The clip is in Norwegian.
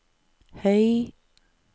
høy